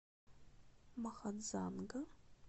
махадзанга